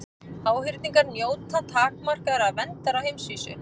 Háhyrningur njóta takmarkaðrar verndar á heimsvísu.